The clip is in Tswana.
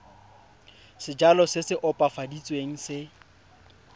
sejalo se se opafaditsweng se